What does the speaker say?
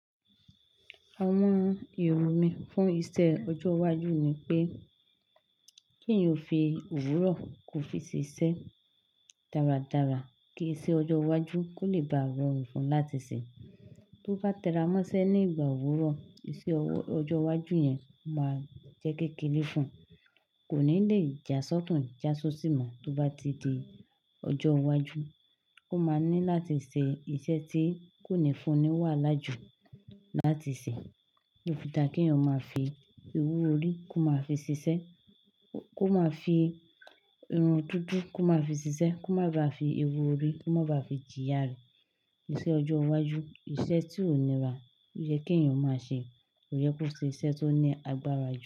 Àwọn ìròyìn fún iṣẹ ọjọ iwájú ni pé kí èèyàn fi òwúrọ̀ kó fi ṣiṣẹ́ dáradára. Ki iṣẹ́ ọjọ́ iwájú kò lè bá àwọn fun láti ṣe. Tó bá tẹra mọ́ṣẹ́ ní ìgbà òwúrọ̀, iṣẹ́ ọjọ́ iwájú yẹn máa jẹ́ kékeré fún ùn, kò ní lè jásọ́tùn jásóṣì mọ̀ tó bá ti di ọjọ́ iwájú. Ó máa ní láti ṣe iṣẹ́ tí kò ní fún ni wàhálà jù láti ṣe. Ó fi da kí èèyàn máa fi ewú orí kó máa fi ṣiṣẹ́, kó máa fi irun dúdú kó máa fi ṣiṣẹ́, kó má ba à fi ewú orí kó má ba à fi jìyà rẹ. Iṣẹ́ ọjọ́ iwájú, iṣẹ́ tí òní rà yẹ kí èèyàn máa ṣe. Kò yẹ kó ṣe iṣẹ́ tó ní agbára jù.